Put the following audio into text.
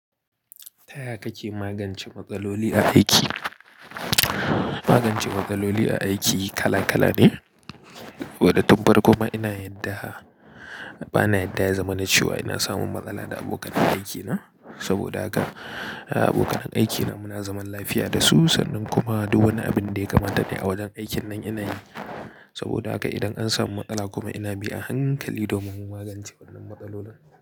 Taya kake magance matsaloli a aiki? Magance matsaloli a aiki kala kala ne. Wada tun farko ma ina yarda ba na yarda ya zamanace wa ina samun matsala da abokan aikina. Saboda haka abokan aikina muna zaman lafiya da su, sannan kuma duk wani abin da ya kamata ne a wajen aikin nan ina yi. Saboda haka idan an samu matsala kuma ina bi a hankali domin magance wannan matsaloli.